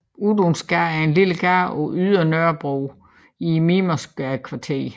Ydunsgade er en lille gade på Ydre Nørrebro i Mimersgadekvarteret